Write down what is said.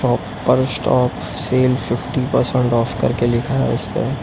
shop पर stop sale fifty percent off करके लिखा है इसपे --